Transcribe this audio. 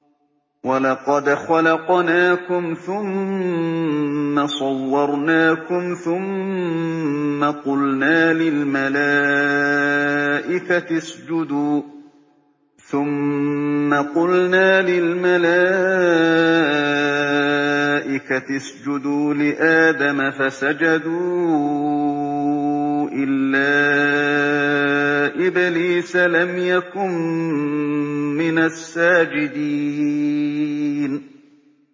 وَلَقَدْ خَلَقْنَاكُمْ ثُمَّ صَوَّرْنَاكُمْ ثُمَّ قُلْنَا لِلْمَلَائِكَةِ اسْجُدُوا لِآدَمَ فَسَجَدُوا إِلَّا إِبْلِيسَ لَمْ يَكُن مِّنَ السَّاجِدِينَ